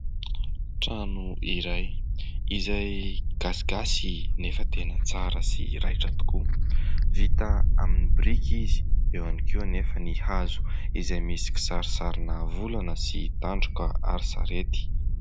Trano izay izay gasigasy nefa tena tsara sy raitra tokoa. Vita amin'ny biriky izy eo ihany koa anefa ny hazo izay misy kisarisarina volana sy tandroka ary sarety.